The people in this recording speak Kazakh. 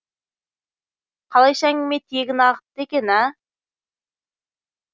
қалайша әңгіме тиегін ағытты екен а